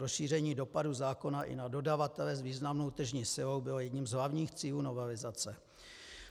Rozšíření dopadu zákona i na dodavatele s významnou tržní silou bylo jedním z hlavních cílů novelizace.